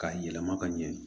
K'a yɛlɛma ka ɲɛ